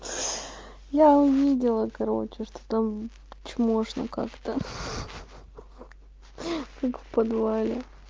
я увидела короче что там чмошно как-то как в подвале